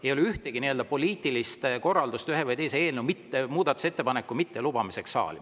Ei ole ühtegi nii-öelda poliitilist korraldust ühe või teise eelnõu muudatusettepanekute mittelubamiseks saali.